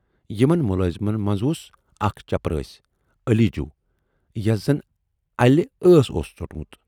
یِمن مُلٲزمن منز اوس اکھ چپرٲسۍ 'علی جوٗ' یَس زَن اَلہِ ٲس اوس ژوٹمُت۔